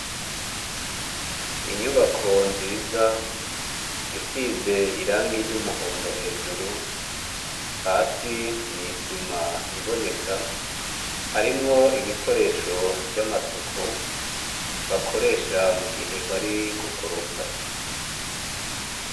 inyubako nziz' isiz' irangi ry' umuhondo hejuru, hasi n' isim' iboneka harimw' ibikoresho vy' amasuku bakoresha mugihe bari gukoropa.